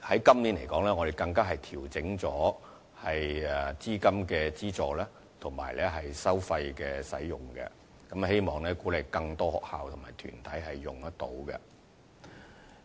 今年，我們更調整了資金的資助及使用收費，希望鼓勵更多學校及團體參與。